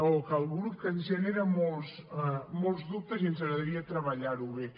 o que al grup ens genera molts dubtes i ens agradaria treballar ho bé